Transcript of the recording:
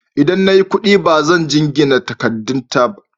Idan na yi kuɗi, ba zan jingina katangata da ta wani ba.